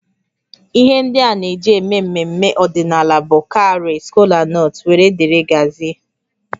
Ihe ndị a na-eji eme mmemme ọdịnala bụ cowries, kolanut wdg